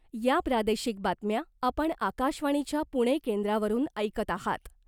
या प्रादेशिक बातम्या आपण आकाशवाणीच्या पुणे केंद्रावरून ऐकत आहात .